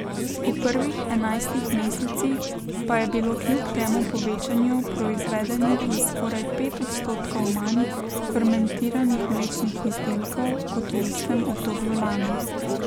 V prvih enajstih mesecih pa je bilo kljub temu povečanju proizvedenih za skoraj pet odstotkov manj fermentiranih mlečnih izdelkov kot v istem obdobju lani.